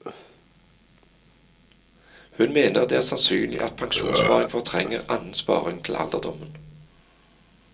Hun mener det er sannsynlig at pensjonssparing fortrenger annen sparing til alderdommen.